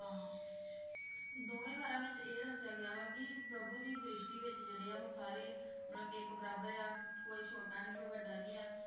ਹਾਂ ਦੋਵੇ ਵਾਰਾਂ ਵਿਚ ਇਹ ਦੱਸਿਆ ਗਿਆ ਵਾ ਕਿ ਪ੍ਰਭੂ ਦੀ ਦ੍ਰਿਸ਼ਟੀ ਵਿਚ ਜਿਹੜੇ ਆ ਸਾਰੇ ਮਤਲਬ ਇਕ ਬਰਾਬਰ ਆ ਕੋਈ ਛੋਟਾ ਨੀ ਕੋਈ ਵਡਾ ਨੀ ਆ